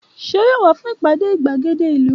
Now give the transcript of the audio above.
Ṣé yóò wá fún ìpàdé gbàgéde ìlú?